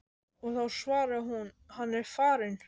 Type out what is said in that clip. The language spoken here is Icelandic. og þá svaraði hún: Hann er farinn.